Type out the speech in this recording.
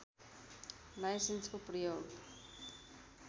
लाइसेन्सको प्रयोग